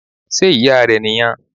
Sé Ìyá rẹ̀ nì yan